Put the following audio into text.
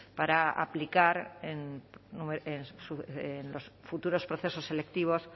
para aplicar en los futuros procesos selectivos